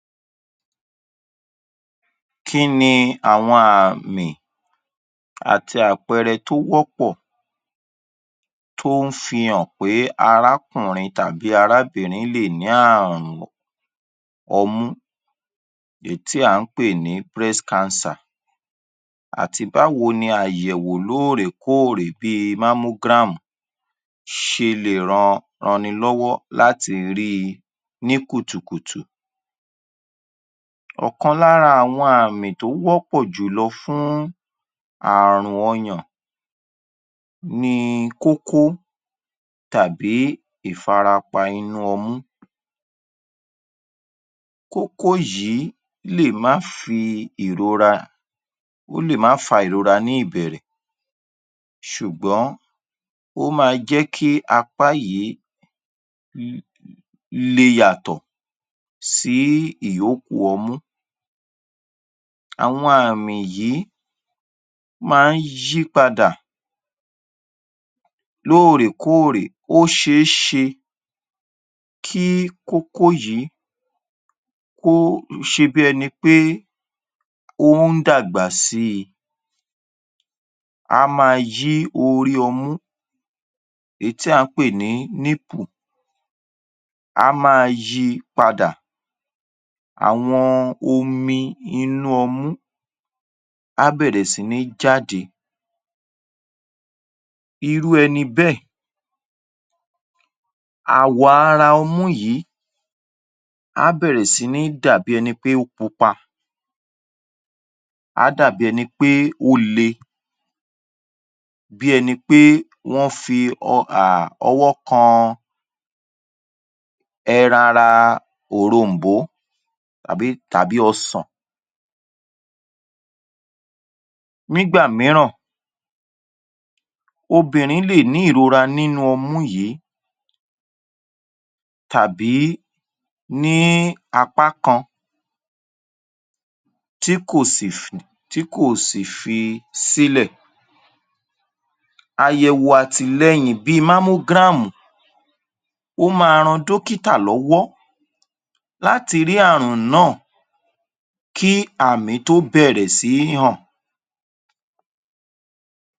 Kín ni àwọn àmì àti àpẹẹrẹ tó wọ́pọ̀ tó ń fihàn pé arákùnrin tàbí arábìnrin lè ní àrùn ọmú èyí tí à ń pè ní breast cancer àti báwo ni àyẹ̀wò lóòrèkóòrè bíi mammogram ṣe lè ran, ranni lọ́wọ́ láti rí i ní kùtùkùtù? Ọ̀kan lára àwọn àmì tó wọ́pọ́ jùlọ fún àrùn ọyàn ni kókó tàbí ìfarapa inú ọmú. Kókó yìí lè má fi ìrora, ó lè má fa ìrora ní ìbẹ̀rẹ̀ ṣùgbọ́n ó máa jẹ́ kí apá yìí um le yàtọ̀ sí ìyókù ọmú. Àwọn àmì yìí máa ń yí padà lóòrèkóòrè. Ó ṣeéṣe kí kókó yìí kó se bí ẹni pé ó ń dàgbà síi. Á máa yí orí ọmú, èyí tí à ń pè ní nipple, á máa yi padà. Àwọn omi inú ọmú á bẹ̀rẹ̀ sí ní jáde. Irú ẹni bẹ́ẹ̀, àwọ̀ ara ọmú yìí á bẹ̀rẹ̀ sí ní dà bí ẹni pé ó pupa. Á dà bí ẹni pé ó le, bí ẹni pé wọ́n fi ọwọ́ kan ẹran ara òrom̀bó tàbí, tàbí ọsàn. Nígbà mìíràn, obìnrin lè ní ìrora nínú ọmú yìí tàbí ní apá kan tí kò sì tí kò sì fi sílẹ̀. Àyẹ̀wò àtìlẹ́yìn bíi mammogram ó máa ran dókítà lọ́wọ́ láti rí àrùn náà kí àmì tó bẹ̀rẹ̀ sí í hàn.